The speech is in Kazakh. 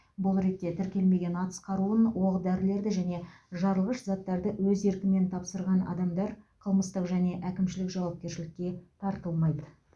бұл ретте тіркелмеген атыс қаруын оқ дәрілерді және жарылғыш заттарды өз еркімен тапсырған адамдар қылмыстық және әкімшілік жауапкершілікке тартылмайды